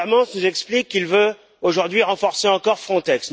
Timmermans nous explique qu'il veut aujourd'hui renforcer encore Frontex.